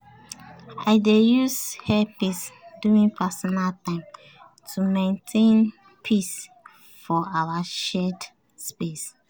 i dey use earpiece during personal time to maintain peace for our shared space.